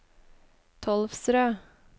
Tolvsrød